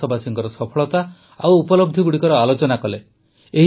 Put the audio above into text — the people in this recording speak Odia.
ଆମେ ଦେଶବାସୀଙ୍କର ସଫଳତା ଓ ଉପଲବ୍ଧିଗୁଡ଼ିକର ଆଲୋଚନା କଲେ